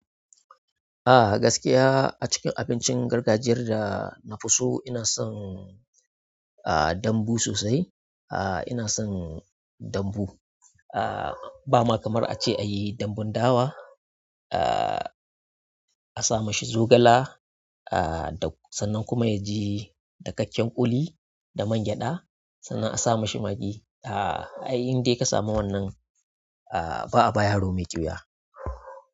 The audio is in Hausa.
Ah gaskiya a cikin abincin gargajiyar da na fi so ina son ah dambu sosai. Ah ina son dambu. Ah ba ma kamar ace a yi dambun dawa ah a sa mashi zogala ah sannan kuma ya ji dakakken ƙuli da mangyaɗa sannan a sa mashi magi. Kai indai kasa mu wannan ba'a ba yari mai kyiwa.